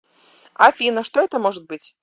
афина что это может быть